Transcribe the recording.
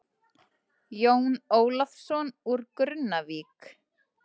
Jón Ólafsson úr Grunnavík.